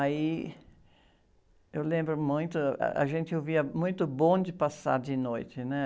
Aí eu lembro muito, ah, a gente ouvia muito bonde passar de noite, né?